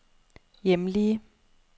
hjemlige